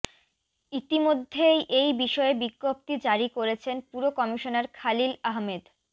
ইতিমধ্যেই এই বিষয়ে বিজ্ঞপ্তি জারি করেছেন পুর কমিশনার খলিল আহমেদ